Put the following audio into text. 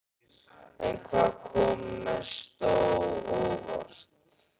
En hvað kom mest á óvart?